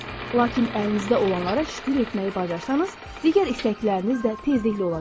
Lakin əlinizdə olanlara şükür etməyi bacarsanız, digər istəkləriniz də tezliklə olacaqdır.